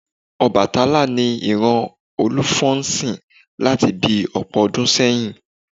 Ọbàtálá ni ìran Olúfọ́n ń sìn láti bi ọ̀pọ̀ ọdún sẹ́yìn